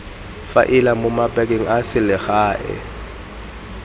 faela mo mabakeng a selegae